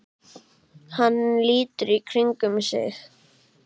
Hann lítur í kringum sig.